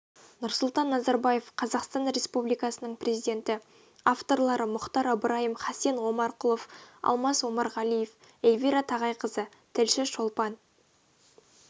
нұрсұлтан назарбаев қазақстан республикасының президенті авторлары мұхтар ыбырайым хасен омарқұлов алмас омарғалиев эльвира тағайқызы тілші шолпан